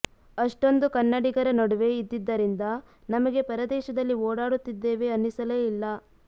ಅಷ್ಟೊಂದು ಕನ್ನಡಿಗರ ನಡುವೆ ಇದ್ದಿದ್ದರಿಂದ ನಮಗೆ ಪರದೇಶದಲ್ಲಿ ಓಡಾಡುತ್ತಿದ್ದೇವೆ ಅನ್ನಿಸಲೇ ಇಲ್ಲ